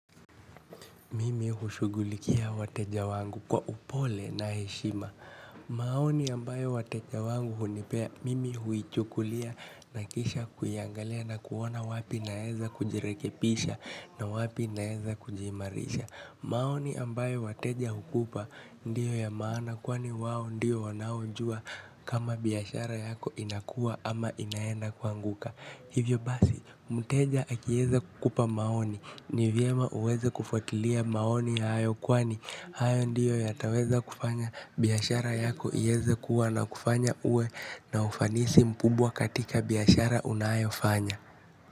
Mimi hushughulikia wateja wangu kwa upole na heshima. Maoni ambayo wateja wangu hunipea mimi huichukulia na kisha kuiangalia na kuona wapi naeza kujirekebisha na wapi naeza kujiimarisha. Maoni ambayo wateja hukupa ndiyo ya maana kwani wao ndiyo wanaojua kama biashara yako inakua ama inaenda kuanguka. Hivyo basi, mteja akieza kukupa maoni, ni vyema uweze kufuatilia maoni hayo kwani, hayo ndiyo yataweza kufanya biashara yako iweze kuwa na kufanya uwe na ufanisi mkubwa katika biashara unayofanya.